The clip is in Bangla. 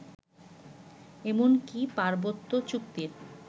এমনকি পার্বত্য চুক্তির